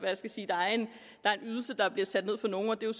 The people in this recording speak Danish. der er en ydelse der bliver sat ned for nogle og det er